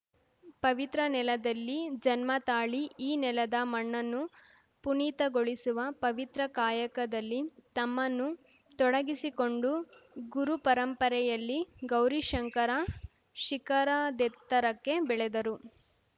ಪವಿತ್ರ ನೆಲದಲ್ಲಿ ಜನ್ಮ ತಾಳಿ ಈ ನೆಲದ ಮಣ್ಣನ್ನು ಪುನೀತಗೊಳಿಸುವ ಪವಿತ್ರ ಕಾಯಕದಲ್ಲಿ ತಮ್ಮನ್ನು ತೊಡಗಿಸಿಕೊಂಡು ಗುರುಪರಂಪರೆಯಲ್ಲಿ ಗೌರಿಶಂಕರ ಶಿಖರದೆತ್ತರಕ್ಕೆ ಬೆಳೆದರು